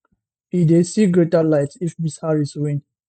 e dey see greater light if ms harris win